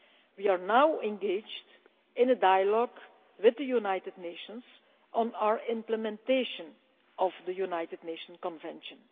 We are now engaged in a dialogue with the United Nations on our implementation of the Convention.